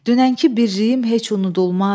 dünənki birliyim heç unudulmaz.